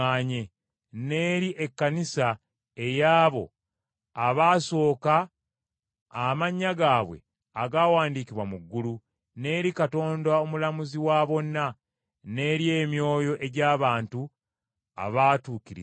n’eri ekkanisa ey’abo abaasooka, amannya gaabwe agaawandiikibwa mu ggulu, n’eri Katonda Omulamuzi wa bonna, n’eri emyoyo egy’abantu abaatukirizibwa,